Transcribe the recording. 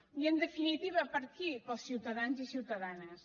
i en definitiva per a qui per als ciutadans i ciutadanes